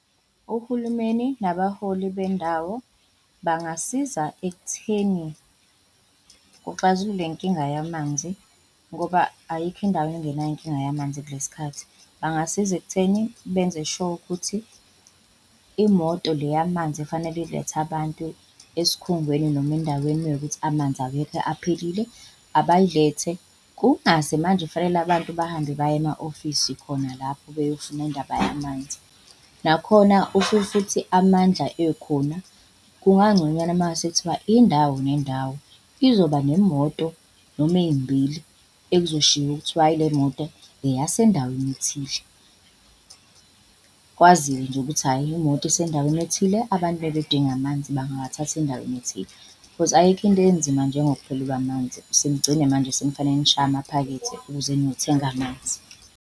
Uhulumeni nabaholi bendawo bangasiza ekutheni kuxazululwe le nkinga yamanzi ngoba ayikho indawo engenayo inkinga yamanzi kule sikhathi. Bangasiza ekutheni benze sure ukuthi imoto le yamanzi efanele ilethe abantu esikhungweni noma endaweni mewukuthi amanzi awekho, aphelile, abayilethe. Kungaze manje fanele abantu bahambe baye ema-ofisi khona lapho beyofuna indaba yamanzi. Nakhona if futhi amandla ekhona kungangconywana mase kuthiwa indawo nendawo izoba nemoto noma ey'mbili ekuzoshiwo kuthiwe hhayi, le moto eyasendaweni ethile. Kwaziwe nje ukuthi hhayi imoto isendaweni ethile, abantu mebedinga amanzi bangawathatha endaweni ethile. Because ayikho into enzima njengokuphelelwa amanzi, senigcine manje senifanele nishaye amaphakethe ukuze niyothenga amanzi.